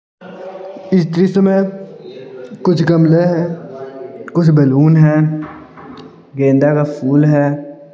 सी दृश्य मे कुछ गमले हैं कुछ बैलून है गेंदा का फूल है ।